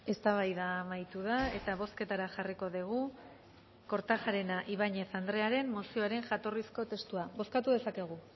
eztabaida amaitu da eta bozketara jarriko dugu kortajarena ibañez andrearen mozioaren jatorrizko testua bozkatu dezakegu